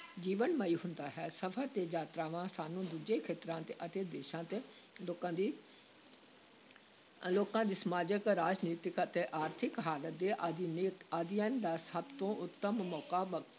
ਜੀਵਨਮਈ ਹੁੰਦਾ ਹੈ, ਸਫ਼ਰ ਤੇ ਯਾਤਰਾਵਾਂ ਸਾਨੂੰ ਦੂਜੇ ਖੇਤਰਾਂ ਦੇ ਅਤੇ ਦੇਸ਼ਾਂ ਦੇ ਲੋਕਾਂ ਦੀ ਲੋਕਾਂ ਦੀ ਸਮਾਜਿਕ, ਰਾਜਨੀਤਿਕ ਅਤੇ ਆਰਥਿਕ ਹਾਲਤ ਦੇ ਅਧਿਨੈ ਅਧਿਐਨ ਦਾ ਸਭ ਤੋਂ ਉੱਤਮ ਮੌਕਾ ਬ